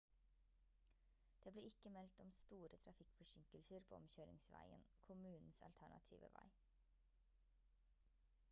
det ble ikke meldt om store trafikkforsinkelser på omkjøringsveien kommunens alternative vei